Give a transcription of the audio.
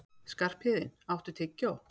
Skarphéðinn, áttu tyggjó?